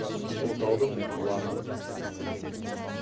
ұлытаудың ұланы